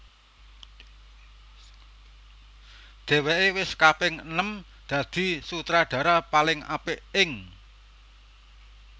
Dhèwèké wis kaping enem dadi Sutradara paling apik ing